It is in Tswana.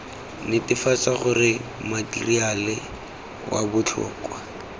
netefatsa gore matheriale wa botlhokwa